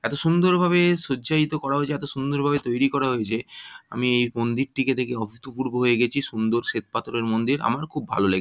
এতো সুন্দরভাবে সজ্জায়তো করা হয়েছে এতো সুন্দরভাবে তৈরি করা হয়েছে আমি মন্দিরটিকে দেখে অভূতপূর্ব হয়ে গেছি সুন্দর শ্বেতপাথরের মন্দির আমার খুব ভালো লেগেছে।